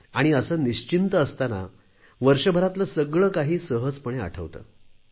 आणि असे निश्चिंत असातांना वर्षभरातले सगळे काही सहजपणे आठवते